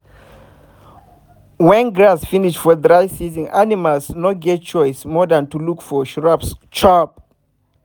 wen grass finish for dry season animals no get choice more than to look for shrubs chop